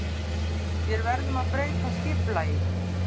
Vér verðum að breyta skipulaginu.